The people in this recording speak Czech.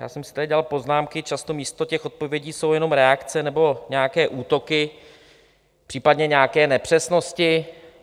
Já jsem si tady dělal poznámky, často místo těch odpovědí jsou jenom reakce nebo nějaké útoky, případně nějaké nepřesnosti.